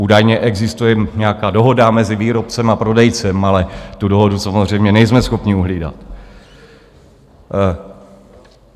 Údajně existuje nějaká dohoda mezi výrobcem a prodejcem, ale tu dohodu samozřejmě nejsme schopni uhlídat.